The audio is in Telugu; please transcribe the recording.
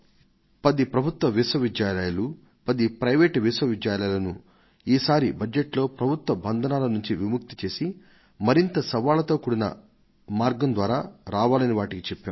పది ప్రభుత్వ విశ్వవిద్యాలయాలు పది ప్రైవేట్ విశ్వవిద్యాలయాలను ఈసారి బడ్జెట్లో ప్రభుత్వ బంధనాల నుంచి విముక్తి చేసి మరింత సవాళ్లతో కూడిన మార్గం ద్వారా రావాలని వాటికి చెప్పాం